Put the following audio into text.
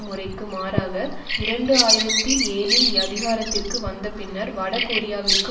முறைக்கு மாறாக இரண்டு ஆயிரத்தி ஏழில் அதிகாரத்திற்கு வந்தபின்னர் வடகொரியாவிற்கு